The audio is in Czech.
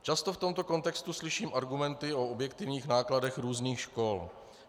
Často v tomto kontextu slyším argumenty o objektivních nákladech různých škol.